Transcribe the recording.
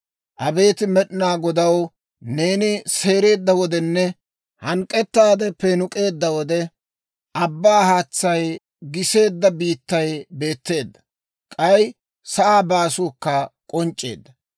Abeet Med'inaa Godaw, neeni seereedda wodenne, Hank'k'ettaade peenuk'eedda wode, abbaa haatsay giseedda biittay beetteedda. K'ay sa'aa baasuukka k'onc'c'eedda.